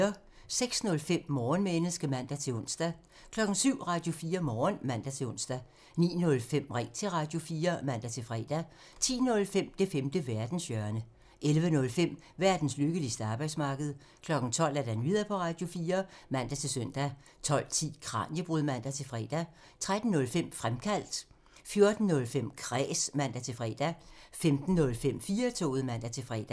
06:05: Morgenmenneske (man-ons) 07:00: Radio4 Morgen (man-ons) 09:05: Ring til Radio4 (man-fre) 10:05: Det femte verdenshjørne (man) 11:05: Verdens lykkeligste arbejdsmarked (man) 12:00: Nyheder på Radio4 (man-søn) 12:10: Kraniebrud (man-fre) 13:05: Fremkaldt (man) 14:05: Kræs (man-fre) 15:05: 4-toget (man-fre)